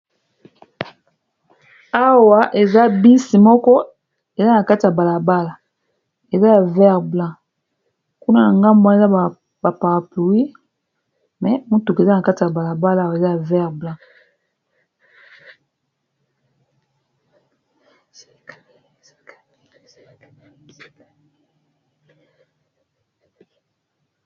Awa eza bus moko eza na kati ya balabala eza ya vert blanc kuna na ngambu wana eza ba parapluie me motuka eza na kati ya balabala eza ya vert blanc.